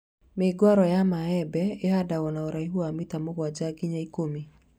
Mĩũngũrwa ya mĩembe ĩhandwagwo na ũraihu wa mita mũgwanja nginya ikũmi